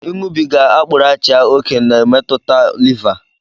Ịṅụbịga akprụrụachia òkè na-emetụta lịvá